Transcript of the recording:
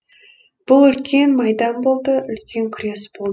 бұл үлкен майдан болды үлкен күрес болды